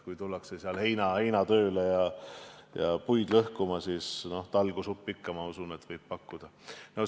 Kui tullakse heinatööle või puid lõhkuma, siis usutavasti talgusuppi ikka võib pakkuda.